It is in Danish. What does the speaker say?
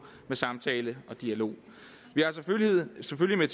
med samtale og dialog vi har selvfølgelig